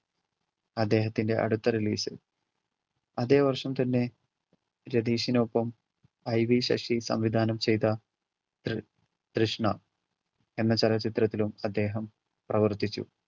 അദ്ദേഹത്തിൻറെ അടുത്ത relation. അതെ വർഷം തന്നെ രതീഷിനൊപ്പം IV ശശി സംവിധാനം ചെയ്‌ത ത്രി~ തൃഷ്ണ എന്ന ചലച്ചിത്രത്തിലും അദ്ദേഹം പ്രവർത്തിച്ചു.